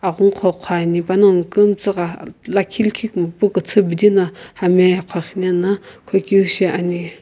aghungu qo qhoani panongu kumtsa gha lakhi likhe kumopu küthü bidi na hami ye qhoqhunena qhokeu shiani.